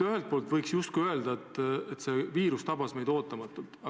Ühelt poolt võiks justkui öelda, et see viirus tabas meid ootamatult.